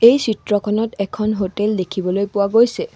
এই চিত্ৰখনত এখন হোটেল দেখিবলৈ পোৱা গৈছে।